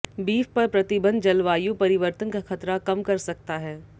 beef पर प्रतिबंध जलवायु परिवर्तन का खतरा कम कर सकता है